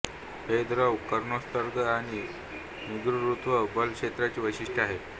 हे द्रव्य किरणोत्सर्ग आणि निर्गुरुत्व बल क्षेत्राची वैशिष्ट्ये आहेत